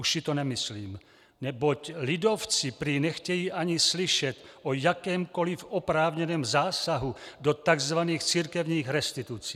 Už si to nemyslím, neboť lidovci prý nechtějí ani slyšet o jakémkoliv oprávněném zásahu do tzv. církevních restitucí.